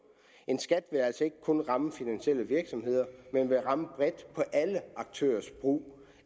en skat vil altså ikke kun ramme finansielle virksomheder men vil ramme bredt på alle aktørers brug